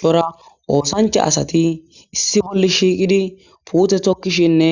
Cora osancha asat issi bolla shiqid pute tokishenne